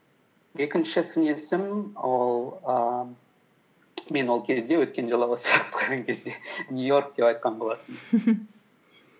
екінші сын есім ол ііі мен ол кезде өткенде кезде нью йорк деп айтқан болатынмын